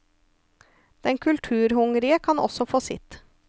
Den kulturhungrige kan også få sitt.